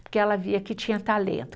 Porque ela via que tinha talento.